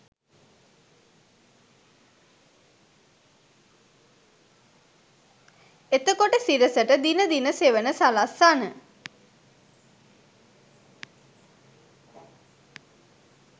එතකොට සිරසට දින දින සෙවන සලස්සන